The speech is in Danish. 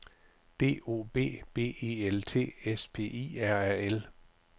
D O B B E L T S P I R A L